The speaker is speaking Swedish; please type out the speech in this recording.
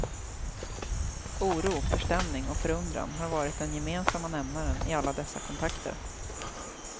Oro, förstämning och förundran har varit den gemensamma nämnaren i alla dessa kontakter.